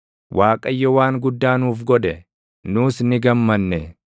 Waaqayyo waan guddaa nuuf godhe; nus ni gammanne.